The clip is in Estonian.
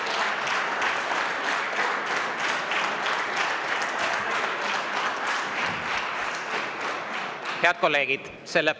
Head kolleegid!